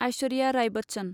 Aishwarya Rai Bachchan